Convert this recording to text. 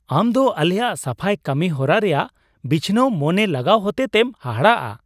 ᱟᱢ ᱫᱚ ᱟᱞᱮᱭᱟᱜ ᱥᱟᱯᱷᱟᱭ ᱠᱟᱹᱢᱤᱦᱚᱨᱟ ᱨᱮᱭᱟᱜ ᱵᱤᱪᱷᱱᱟᱹᱣ ᱢᱚᱱᱮ ᱞᱟᱜᱟᱣ ᱦᱚᱛᱮᱛᱮᱢ ᱦᱟᱦᱟᱲᱟᱜᱼᱟ ᱾